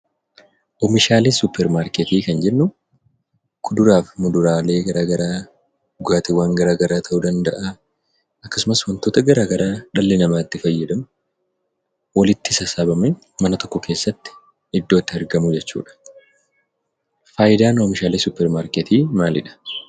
Oomishaalee suuparmarkeetii kan jennu kuduraaf muduraalee gara garaa, dhugaatiiwwan garagaraa ta'uu danda'aa akkasumas wantota gara garaa dhalli namaa itti fayyadamu walitti sassaabamee mana tokko keessatti iddootti argamu jechuudha. Faayidaan oomishaalee suuparmarkeetii maalidha?